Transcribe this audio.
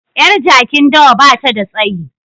Yar jakin dawa ba ta da tsayi